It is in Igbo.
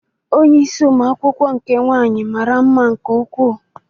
Onye isi ụmụ akwụkwọ nke nwaanyị mara mma nke ukwuu.